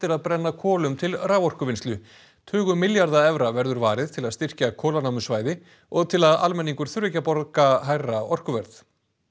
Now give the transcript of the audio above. að brenna kolum til raforkuvinnslu tugum milljarða evra verður varið til að styrkja kolanámusvæði og til að almenningur þurfi ekki að borga hærra orkuverð